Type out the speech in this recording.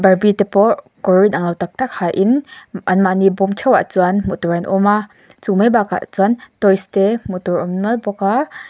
barbie te pawh kawr inanglo tak tak hain anmahni bawm theuhah chuan hmuh tur an awm a chu mai bakah chuan toys te hmuh tur awm nuam bawk a.